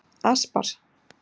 Aspar